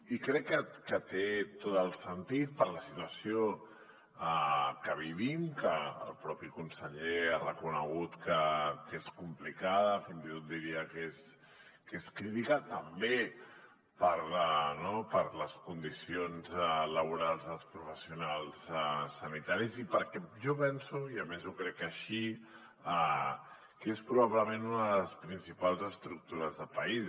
i crec que té tot el sentit per la situació que vivim que el propi conseller ha reconegut que és complicada fins i tot diria que és crítica també per les condicions laborals dels professionals sanitaris i perquè jo penso i a més ho crec així que és probablement una de les principals estructures de país